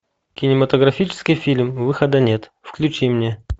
кинематографический фильм выхода нет включи мне